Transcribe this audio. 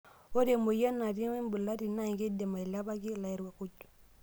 Ore emoyian natii embulati naa keidim ailepaki lairakuj.